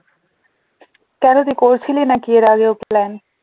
কেন তুই করেছিলি নাকি এর আগেও plan?